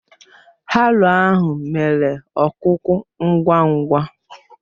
Haroo ahụ mere ọkuku ngwa ngwa